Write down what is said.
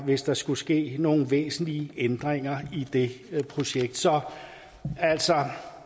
hvis der skulle ske nogle væsentlige ændringer i det projekt så altså